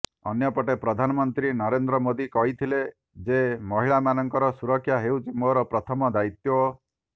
ଅନ୍ୟପଟେ ପ୍ରଧାନମନ୍ତ୍ରୀ ନରେନ୍ଦ୍ର ମୋଦି କହିଥିଲେ ଯେ ମହିଳାମାନଙ୍କର ସୁରକ୍ଷା ହେଉଛି ମୋର ପ୍ରଥମ ଦାୟିତ୍ୱ